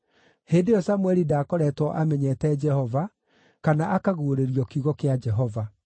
Hĩndĩ ĩyo Samũeli ndaakoretwo amenyete Jehova, kana akaguũrĩrio kiugo kĩa Jehova.